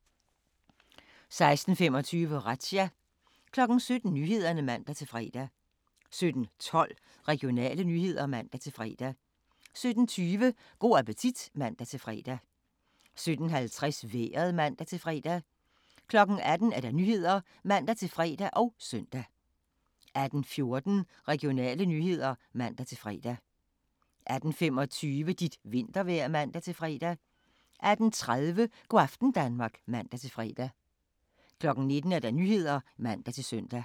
16:25: Razzia 17:00: Nyhederne (man-fre) 17:12: Regionale nyheder (man-fre) 17:20: Go' appetit (man-fre) 17:50: Vejret (man-fre) 18:00: Nyhederne (man-fre og søn) 18:14: Regionale nyheder (man-fre) 18:25: Dit vintervejr (man-fre) 18:30: Go' aften Danmark (man-fre) 19:00: Nyhederne (man-søn)